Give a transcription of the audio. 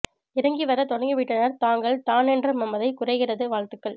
இறங்கி வர தொடங்கிவிட்டனர் தாங்கள் தான் என்ற மமதை குறைகிறது வாழ்த்துக்கள்